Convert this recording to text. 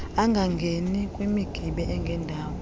angangeni kwimigibe engendawo